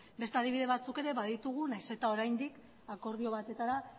beste adibide batzuk ere baditugu nahiz eta oraindik akordio batetara